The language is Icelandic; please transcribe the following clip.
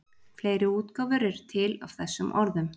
fleiri útgáfur eru til af þessum orðum